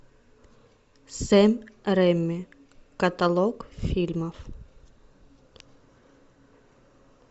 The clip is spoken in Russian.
сэм рэйми каталог фильмов